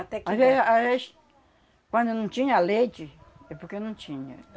Até que... Mas aí a, às vez, quando eu não tinha leite, é porque eu não tinha.